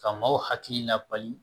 Ka maaw hakili labali